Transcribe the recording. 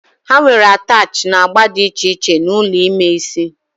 Ha nwere attachị na agba dị iche iche na ụlọ ime isi